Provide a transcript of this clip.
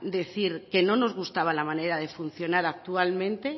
decir que no nos gustaba la manera de funcionar actualmente